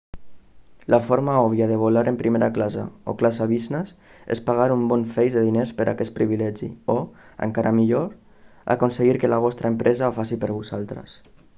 la forma òbvia de volar en primera classe o classe business és pagar un bon feix de diners per aquest privilegi o encara millor aconseguir que la vostra empresa ho faci per vosaltres